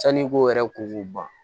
Sanni i ko yɛrɛ ko k'u ban